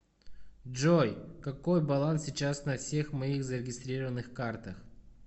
джой какой баланс сейчас на всех моих зарегистрированных картах